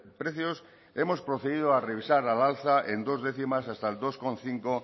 precios hemos procedido a revisar al alza en dos décimas hasta el dos coma cinco